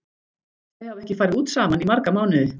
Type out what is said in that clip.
Þau hafa ekki farið út saman í marga mánuði.